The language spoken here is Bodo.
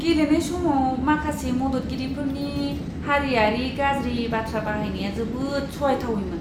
गेलेनाय समाव माखासे मददगिरिफोरनि हारिआरि गाज्रि बाथ्रा बाहायनाया जोबोद सहायथावैमोन!